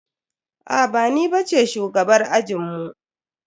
Aa ba ni bace shugabar ajinmu.